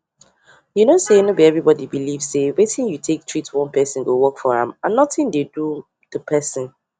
you know sayno be everybody belief say wetin you take treat one person go work for am and nothing dey do the person